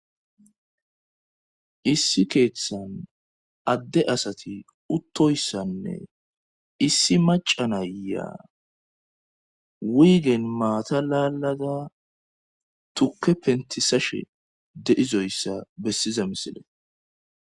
issi keeththan adde asati uttoyssanne issi macanayyaa wiiyigen maata laalada tukke pentisashe deizoyssa bessiza misile